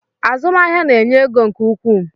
Azụmahịa na-enye ego nke ukwuu